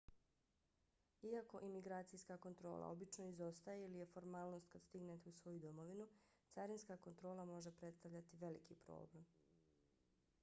iako imigracijska kontrola obično izostaje ili je formalnost kad stignete u svoju domovinu carinska kontrola može predstavljati veliki problem